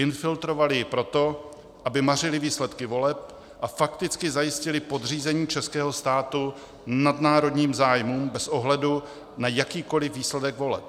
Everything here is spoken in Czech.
Infiltrovaly ji proto, aby mařily výsledky voleb a fakticky zajistily podřízení českého státu nadnárodním zájmům bez ohledu na jakýkoliv výsledek voleb.